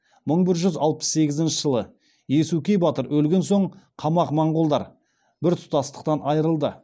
мың бір жүз алпыс сегізінші жылы иесукей батыр өлген соң қамағ моңғолдар бір тұтастықтан айырылады